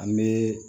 An bɛ